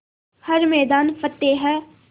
हर मैदान फ़तेह